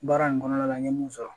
Baara in kɔnɔna la n ye mun sɔrɔ